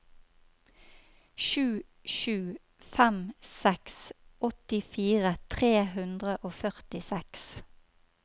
sju sju fem seks åttifire tre hundre og førtiseks